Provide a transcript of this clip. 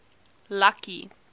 lucky